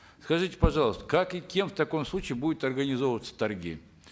скажите пожалуйста как и кем в таком случае будут организовываться торги